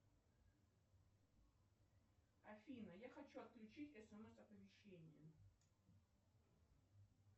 афина я хочу отключить смс оповещение